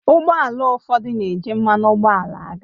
Ụgbọ ala ụfọdụ na-eji mmanụ ụgbọala aga